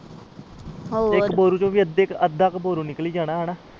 ਹੋਰ